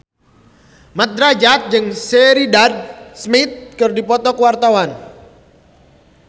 Mat Drajat jeung Sheridan Smith keur dipoto ku wartawan